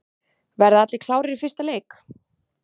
Verða allir klárir í fyrsta leik?